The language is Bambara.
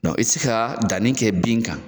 Dɔn i ti se ka danni kɛ bin kan